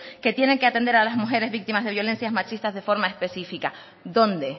que tienen que atender a las mujeres víctimas de violencias machistas de forma específica dónde